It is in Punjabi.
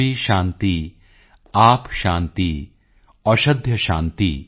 ਪ੍ਰਿਥਵੀ ਸ਼ਾਂਤੀ ਆਪ ਸ਼ਾਂਤੀ ਔਸ਼ਧਯ ਸ਼ਾਂਤੀ